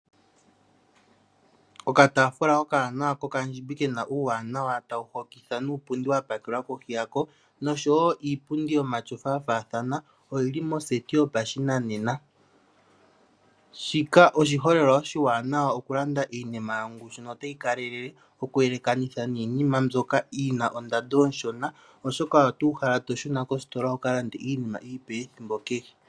Okataafula okawanawa kokandjimbi kena uuwanawa tawu hokitha nuupundi wapakelwa kohi yako niinpundi yomatyofa ya faathana oyili moseti yopashinanena shika oshiholelwa oshiwanawa oku landa iinima yongushu notayi kalele oku elekanitha niinima mbyoka yina ondando oshona oshoka oto uhala to shuna kositola wuka lande iinima iipe ethimbo kehe.